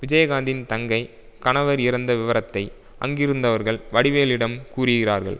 விஜயகாந்தின் தங்கை கணவர் இறந்த விவரத்தை அங்கிருந்தவர்கள் வடிவேலிடம் கூறுகிறார்கள்